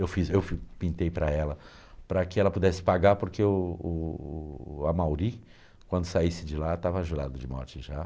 Eu fiz, eu pintei para ela, para que ela pudesse pagar, porque o o o Amauri, quando saísse de lá, estava jurada de morte já.